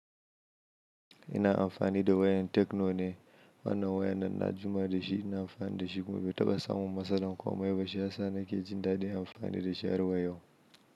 Ina amfani da wayar Techno ne, wannan wayar nan na jima da shi, ina amfani da shi kuma bai taɓa samun matsala ko mai ba. Shiyasa nake jin daɗin amfani da shi har wa yau.